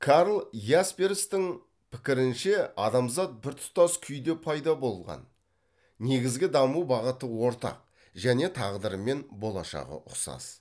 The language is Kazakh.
карл ясперстің пікірінше адамзат біртұтас күйде пайда болған негізгі даму бағыты ортақ және тағдыры мен болашағы ұқсас